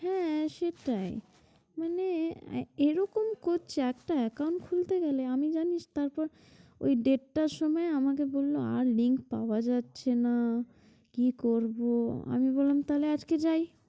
হ্যাঁ সেটাই মানে এরকম করছে একটা account খুলতে গেলে আমি জানিস তারপর ওই দেড়টার সময় আমাকে বলল আর link পাওয়া যাচ্ছে না কি করব আমি বললাম তাহলে আজকে যায়?